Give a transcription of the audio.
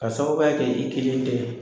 Ka sababuya kɛ i kelen tɛ